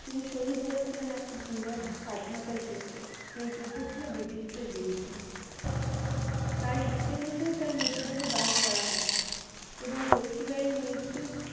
তিনি শহীদ হয়েছিলেন এক বিরাট স্বাধীনতার যুদ্ধে এই যুদ্ধ ছিল british দের বিরুদ্ধে তার ইচ্ছে অনুযায়ী তার মৃত দেহ দাহ করা হয় এবং লক্ষীবাঈ এর মৃত্যুর